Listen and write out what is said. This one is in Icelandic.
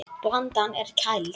Blandan er kæld.